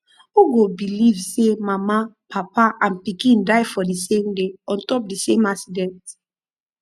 who go believe say mama papa and pikin die for the same day on top the same accident